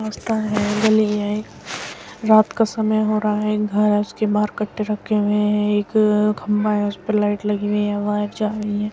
रास्ता है गली है एक। रात का समय हो रहा है घर है उसके बाहर कट्टे रखे हुए हैं। एक खम्भा है उसपे लाइट लगी हुई है। वहाँ एक |